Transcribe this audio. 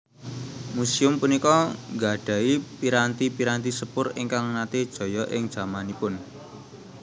Museum punika nggadhahi piranti piranti sepur ingkang nate jaya ing jamanipun